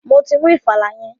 Mo ti mú ìfàlà yẹn.